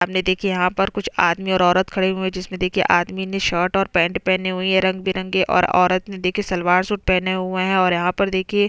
सामने देखिये यहाँ पर कुछ आदमी और औरत खड़े हुए है जिसमें देखिये आदमी ने शर्ट और पैंट पहने हुई है रंग-बिरंगे और औरत ने देखिये सलवार सूट पहने हुए है और यहाँ पर देखिए--